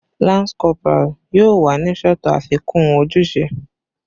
Lance corporal yoo wa ni sọtọ afikun ojuse